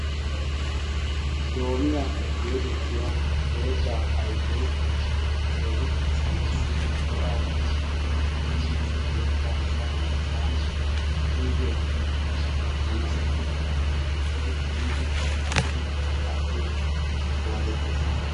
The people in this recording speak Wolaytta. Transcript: loomiyaa getettiyaa doozzaa ayfee keehi asaa naa'assi go"aa immiyaaba. hegeekka asaa na'ay saamikko uyidi ekkanaw naamisikkoka uttidi miidi appe maadeddetees.